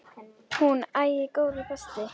Hún: Æi, góði besti.!